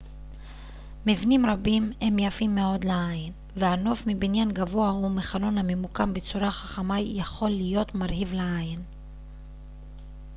מבנים רבים הם יפים מאוד לעין והנוף מבניין גבוה או מחלון הממוקם בצורה חכמה יכול להיות מרהיב עין